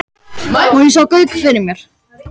Og ég sá Gauk fyrir mér.